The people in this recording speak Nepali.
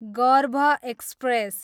गर्भ एक्सप्रेस